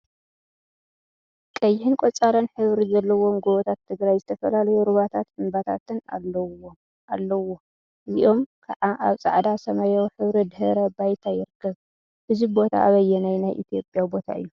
ቀይሕን ቆፃልን ሕብሪ ዘለዎም ጎቦታት ትግራይ ዝተፈላለዩ ሩባታትን እምባታትን አለውዎ፡፡ እዚኦም ከዓ አብ ፃዕዳ ሰማያዊ ሕብሪ ድሕረ ባይታ ይርከብ፡፡ እዚ ቦታ አበይናይ ናይ ኢትዮጵያ ቦታ እዩ?